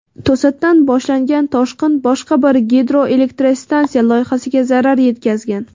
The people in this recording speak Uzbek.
To‘satdan boshlangan toshqin boshqa bir gidroelektrstansiya loyihasiga zarar yetkazgan.